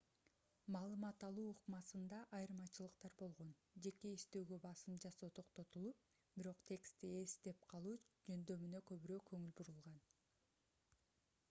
маалымат алуу ыкмасында айырмачылыктар болгон жеке эстөөгө басым жасоо токтотулуп бирок текстти эстеп калуу жөндөмүнө көбүрөөк көңүл бурулган